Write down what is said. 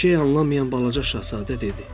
Bir şey anlamayan balaca şahzadə dedi: